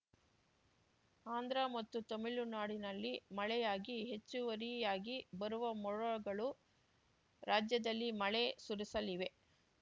ಆಂಧ್ರ ಮತ್ತು ತಮಿಳುನಾಡಿನಲ್ಲಿ ಮಳೆಯಾಗಿ ಹೆಚ್ಚುವರಿಯಾಗಿ ಬರುವ ಮೋಡಗಳು ರಾಜ್ಯದಲ್ಲಿ ಮಳೆ ಸುರಿಸಲಿವೆ